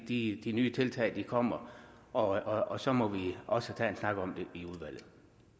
de nye tiltag kommer og og så må vi også tage en snak om det i udvalget